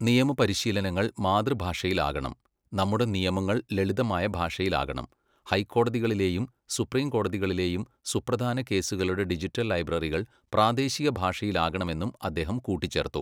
നിയമപരിശീലനങ്ങൾ മാതൃഭാഷയിലാകണം, നമ്മുടെ നിയമങ്ങൾ ലളിതമായ ഭാഷയിലാകണം, ഹൈക്കോടതികളിലെയും സുപ്രീം കോടതികളിലെയും സുപ്രധാന കേസുകളുടെ ഡിജിറ്റൽ ലൈബ്രറികൾ പ്രാദേശികഭാഷയിലാകണമെന്നും അദ്ദേഹം കൂട്ടിച്ചേർത്തു.